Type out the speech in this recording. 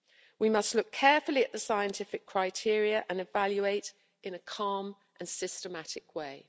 We must look carefully at the scientific criteria and evaluate in a calm and systematic way.